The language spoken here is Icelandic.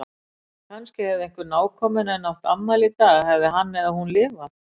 Kannski hefði einhver nákominn henni átt afmæli í dag- hefði hann eða hún lifað.